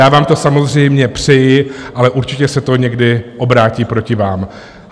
Já vám to samozřejmě přeji, ale určitě se to někdy obrátí proti vám.